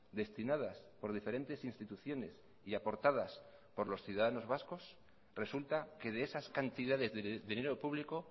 destinadas por diferentes instituciones y aportadas por los ciudadanos vascos resulta que de esas cantidades de dinero público